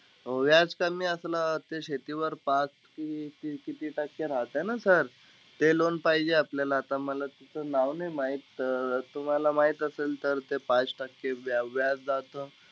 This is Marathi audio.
व्याज कमी असलं ते, शेतीवर पाच की किती टक्के राहता ना sir. ते loan पाहिजे आपल्याला. आता मला त्याचं नाव नाई माहित, अं तुम्हाला माहित असेल तर ते पाच टक्के व्या व्याजाचं,